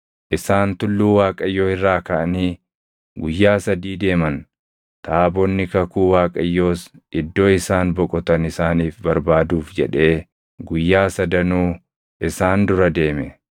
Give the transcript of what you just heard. Isaan tulluu Waaqayyoo irraa kaʼanii guyyaa sadii deeman. Taabonni kakuu Waaqayyoos iddoo isaan boqotan isaaniif barbaaduuf jedhee guyyaa sadanuu isaan dura deeme.